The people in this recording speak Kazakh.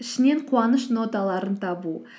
ішінен қуаныш ноталарын табу